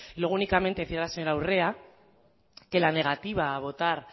luego únicamente decir a la señora urrea que la negativa a votar